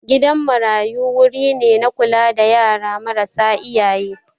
Gidan marayu wuri ne na kula da yara marasa iyaye